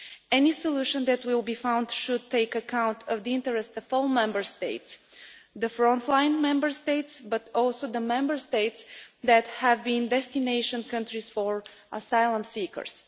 Any solution that will be found should take account of the interests of all Member States the frontline Member States and also the Member States that have been destination countries for asylum seekers.